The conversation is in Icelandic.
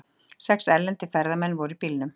Sex erlendir ferðamenn voru í bílnum